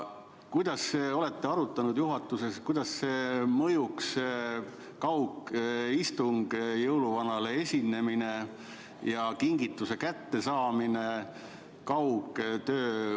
Kas olete juhatuses arutanud, kuidas mõjuks jõuluvanale esinemine ja toimuks kingituse kättesaamine kaugtöö vormis?